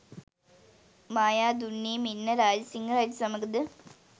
මායාදුන්නේ මෙන්ම රාජසිංහ රජු සමඟ ද